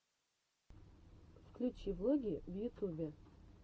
включи влоги в ютубе